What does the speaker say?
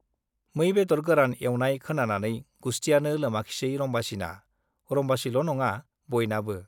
मै बेदर गोरान एउनाय खोनानानै गुस्थियानो लोमाखिसै रम्बासीना, रम्बासील' नङा बयनाबो।